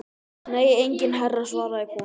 Nei enginn herra svaraði konan.